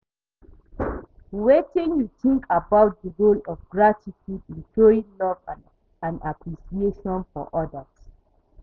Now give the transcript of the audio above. Wetin you think about di role of gratitude in showing love and appreciation for odas?